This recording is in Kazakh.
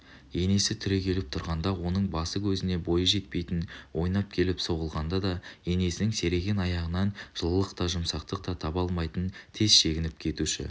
енесі түрегеліп тұрғанда оның басы-көзіне бойы жетпейтін ойнап келіп соғылғанда да енесінің серейген аяғынан жылылық та жұмсақтық та таба алмай тез шегініп кетуші